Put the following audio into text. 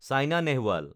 Saina Nehwal